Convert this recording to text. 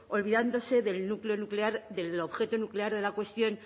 olvidándose del núcleo nuclear del objeto nuclear de la cuestión